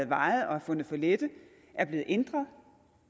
vejet og fundet for lette er blevet ændret